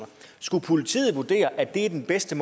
skulle politiet vurdere at det er den bedste